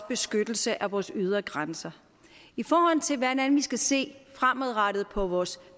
beskyttelsen af vores ydre grænser i forhold til hvordan vi skal se fremadrettet på vores